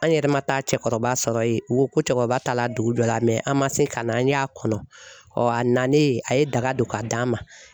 An yɛrɛ ma taa cɛkɔrɔba sɔrɔ yen, u ko ko cɛkɔrɔba ta la dugu dɔ la an ma se ka na an y'a kɔnɔ ɔ a nalen a ye daga don ka d'a ma.